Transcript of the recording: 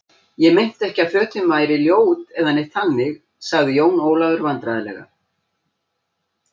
Ég meinti ekki að fötin væri ljót eða neitt þannig, sagði Jón Ólafur vandræðalega.